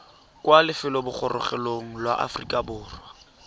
kwa lefelobogorogelong la aforika borwa